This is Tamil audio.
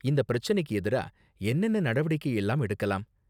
இந்த பிரச்சனைக்கு எதிரா என்னென்ன நடவடிக்கை எல்லாம் எடுக்கலாம்?